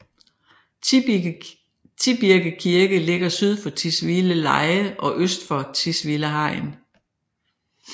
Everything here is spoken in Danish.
Tibirke Kirke ligger syd for Tisvildeleje og øst for Tisvilde Hegn